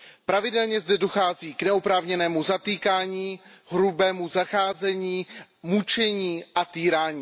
Pravidelně zde dochází k neoprávněnému zatýkání, hrubému zacházení, mučení a týrání.